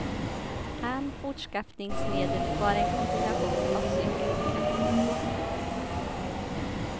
Han fortskaffningsmedel var en kombination av cykel och kanot.